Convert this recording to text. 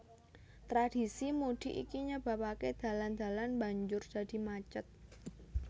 Tradhisi mudik iki nyebabaké dalan dalan banjur dadi macet